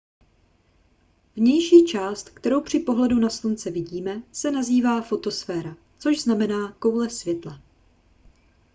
vnější část kterou při pohledu na slunce vidíme se nazývá fotosféra což znamená koule světla